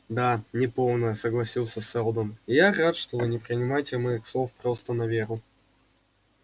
да неполная согласился сэлдон я рад что вы не принимаете моих слов просто на веру